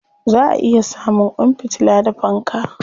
Za a iya samun kwan fitila da fanka.